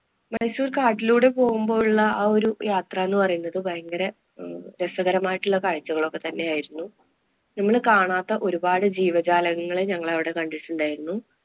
ഒരു പക്ഷേ കാട്ടിലൂടെ പോകുമ്പോഴുള്ള ആ ഒരു യാത്ര എന്ന് പറയുന്നത് ഭയങ്കര ഏർ രസകരമായിട്ടുള്ള കാഴ്ചകളൊക്കെ തന്നെയായിരുന്നു. നമ്മള് കാണാത്ത ഒരുപാട് ജീവജാലങ്ങള്‍ ഞങ്ങള് അവിടെ കണ്ടിട്ടുണ്ടായിരുന്നു.